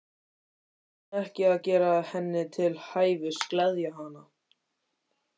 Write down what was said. Hvers vegna ekki að gera henni til hæfis, gleðja hana?